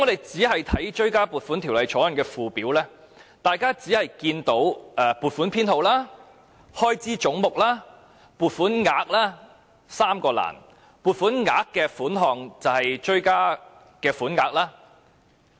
在《條例草案》的附表，大家只看到"撥款編號"、"開支總目"及"撥款額 "3 個欄目，"撥款額"一欄的款項就是追加款額。